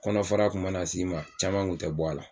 Kɔnɔ fara kun mana s'i ma caman kun tɛ bɔ a la